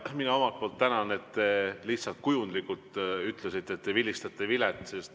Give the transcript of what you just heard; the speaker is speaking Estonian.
Ja mina omalt poolt tänan, et te lihtsalt kujundlikult ütlesite, et vilistate vilet.